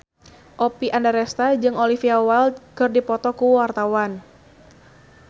Oppie Andaresta jeung Olivia Wilde keur dipoto ku wartawan